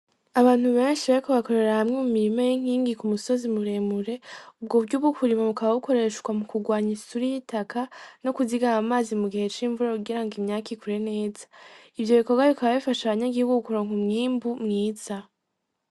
Abantu benshi bariko bakorera hamwe mu mirima y'inkingi ku musozi muremure ubwo buryo bwo kurima bukaba bukoreshwa mu kurwanya isuri y'itaka no kuzigama amazi mu gihe c'imvura kugira ngo imyaka ikure neza ivyo bikorwa bikaba bifasha banyagihugu kuronka umwimbu mwiza.